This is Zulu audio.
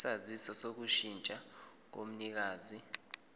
isaziso sokushintsha komnikazi